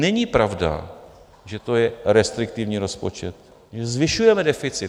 Není pravda, že to je restriktivní rozpočet, že zvyšujeme deficit.